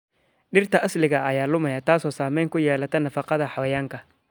Dhirta asaliga ah ayaa lumaya, taasoo saameyn ku yeelata nafaqada xayawaanka.